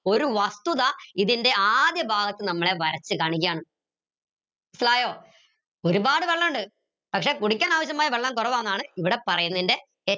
ഒരു വസ്തുത ഇതിൻറെ ആദ്യഭാഗത്ത് നമ്മളെ വരച്ചു കാണിക്കയാണ് മനസ്സിലായോ ഒരുപാട് വെള്ളമിണ്ട്‌ പക്ഷേ കുടിക്കാൻ ആവശ്യമായ വെള്ളം കുറവാന്നാണ് ഇവിടെ പറയുന്നേന്റെ